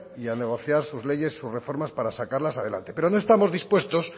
y a negociar sus leyes sus reformas para sacarlas adelante pero no estamos dispuestos